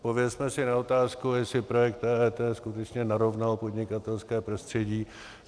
Odpovězme si na otázku, jestli projekt EET skutečně narovnal podnikatelské prostředí.